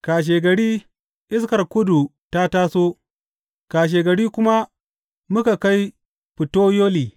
Kashegari iskar kudu ta taso, kashegari kuma muka kai Futeyoli.